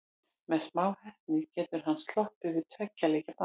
Með smá heppni getur hann sloppið við tveggja leikja bann.